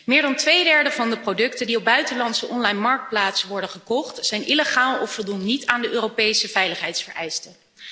Meer dan twee derde van de producten die op buitenlandse onlinemarktplaatsen worden gekocht, zijn illegaal of voldoen niet aan de Europese veiligheidsvereisten.